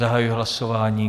Zahajuji hlasování.